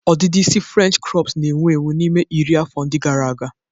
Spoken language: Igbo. Ọdịdị isi frenchị krọps na-ewu ewu n'ime iri afọ ndị gara aga.